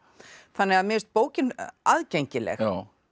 þannig að mér finnst bókin aðgengileg